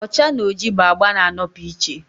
ọcha na oji bụ agba na-anọpụ iche